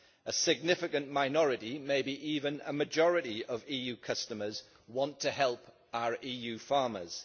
A significant minority maybe even a majority of EU customers want to help our EU farmers.